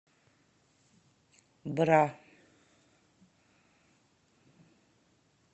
бра